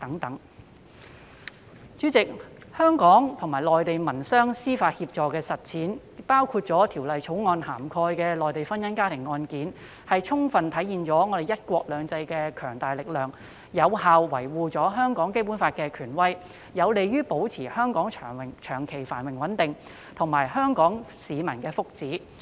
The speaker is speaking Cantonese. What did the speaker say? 代理主席，香港與內地民商事司法協助安排的實踐，包括《條例草案》涵蓋的內地婚姻家庭案件，充分體現了"一國兩制"的強大力量，有效維護香港《基本法》的權威，有利於保持香港長期繁榮安定，以及香港市民的福祉。